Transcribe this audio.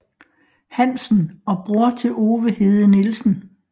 Hansen og bror til Ove Hede Nielsen